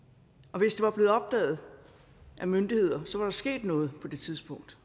og hvis det var blevet opdaget af myndigheder så var der sket noget på det tidspunkt